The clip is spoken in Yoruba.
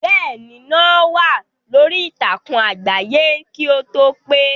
Bẹ́ẹ̀ ni, no wà lórí ìtàkùn àgbáyé kì o tó pè.